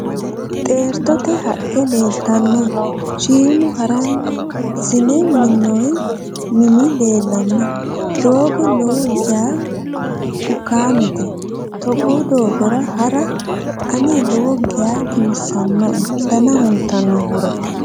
Xeertote haqqe leeltanno. Shiimu haransine minnoyi minuno leellanno. Doogo lowo geya bukaamete. Togoo doogora hara ane lowo geya giwisannoe dana huntannohura.